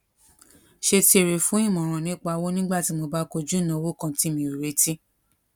ṣe ti èrè fún ìmòràn nípa owó nígbà tí mo bá koju ìnáwó kan tí mi ò retí